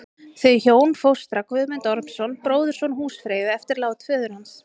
Þau hjón fóstra Guðmund Ormsson, bróðurson húsfreyju, eftir lát föður hans.